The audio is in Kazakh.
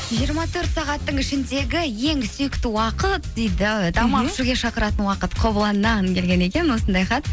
жиырма төрт сағаттың ішіндегі ең сүйікті уақыт дейді тамақ ішуге шақыратын уақыт қобыланнан келген екен осындай хат